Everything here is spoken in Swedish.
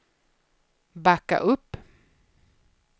backa upp